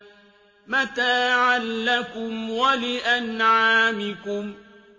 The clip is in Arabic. مَتَاعًا لَّكُمْ وَلِأَنْعَامِكُمْ